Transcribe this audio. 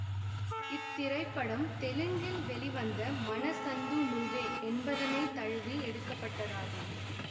இத்திரைப்படம் தெலுங்கில் வெளிவந்த மனசந்தூ நுவ்வே என்பதனை தழுவி எடுக்க பட்டதாகும்